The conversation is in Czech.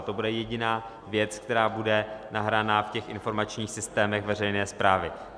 A to bude jediná věc, která bude nahraná v těch informačních systémech veřejné správy.